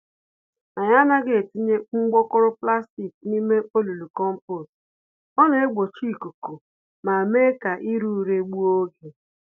Anyị anaghị etinye mgbokoro plastic n'ime olulu kompost, ọ naegbochi ikuku ma némè' ka ire ure gbuo ógè